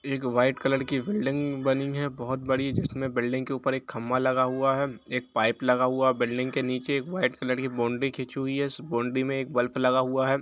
एक white colour की building बनी है बहुत बड़ी जिसमें बिल्डिंग के ऊपर एक खंभा लगा हुआ है एक पाइप लगा हुआ है बिल्डिंग के नीचे एक वाइट कलर के बाउंड्री खींची हुई है उसे बाउंड्री में एक बल्ब लगा हुआ है।